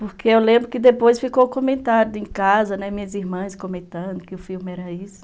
Porque eu lembro que depois ficou comentado em casa, né, minhas irmãs comentando que o filme era isso.